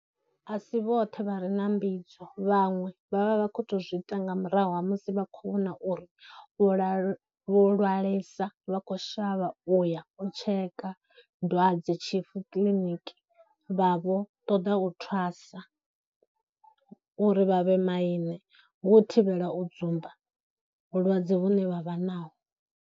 A si vhoṱhe vhare na mbidzo, vhaṅwe vha vha vha khou tou zwiita nga murahu ha musi vha khou vhona uri vho lalwe, vho lwalesa vha khou shavha uya u tsheka dwadzetshifu kiḽiniki vha vho ṱoḓa u thwasa uri vha vhe maine, hu u thivhela u dzumba vhulwadze vhune vha vha naho.